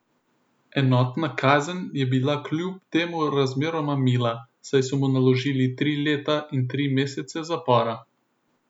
Enotna kazen je bila kljub temu razmeroma mila, saj so mu naložili tri leta in tri mesece zapora.